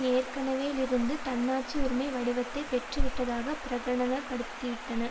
ஏற்கெனவே லிருந்து தன்னாட்சி உரிமை வடிவத்தை பெற்றுவிட்டதாக பிரகடனப்படுத்திவிட்டன